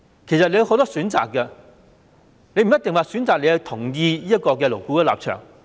政府有很多選擇，不一定要選擇同意勞顧會的立場。